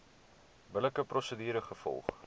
billike prosedure gevolg